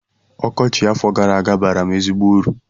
Ọkọchị afọ gara aga baara m ezigbo uru